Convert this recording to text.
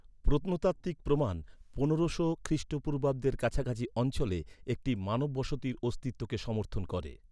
প্রত্নতাত্ত্বিক প্রমাণ পনেরোশো খ্রিস্টপূর্বাব্দের কাছাকাছি অঞ্চলে, একটি মানব বসতির অস্তিত্বকে সমর্থন করে।